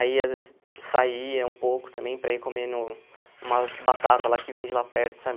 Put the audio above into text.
Aí, às vezes, saía um pouco também para ir comendo umas batatas lá que vende lá perto, sabe?